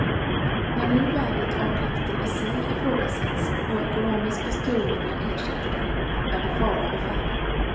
När nu värdet av plikten i sig ifrågasätts och ekonomiska styrmedel ersätter den är det fara å färde.